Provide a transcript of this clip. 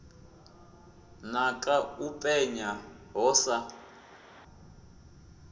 naka ḽi penya ho sa